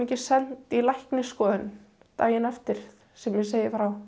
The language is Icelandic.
send í læknisskoðun daginn eftir sem ég segi frá